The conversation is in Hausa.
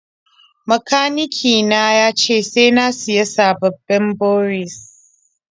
Makanike na ya ce sai na sayi sababbin boris.